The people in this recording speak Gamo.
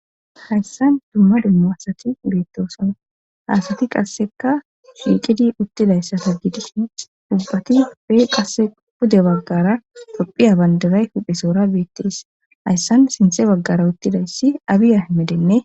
Hayssan dumma dummo hasati beettoosana haasati qasseka dhiiqidi uttidayssata gidisne dubbati bee qasse pude baggara xophiya bandaray huphesoora beettees hayssan sinthe baggara uttidayssi abiya ayhimedenne.